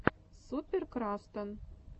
супер крастан